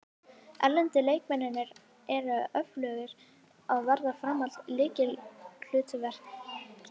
Erlendu leikmennirnir eru öflugir og verða áfram í lykilhlutverki.